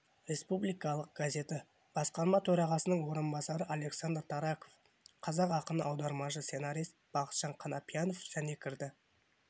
республикалық газеті басқарма төрағасының орынбасары александр тараков қазақ ақыны аудармашы сценарист бахытжан қанапиянов және кірді